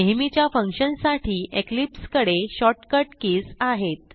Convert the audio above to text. नेहमीच्या फंक्शनसाठी इक्लिप्स कडे शॉर्टकट कीज आहेत